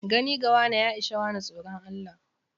Gane gawane ya ishe wane tsoron Allah.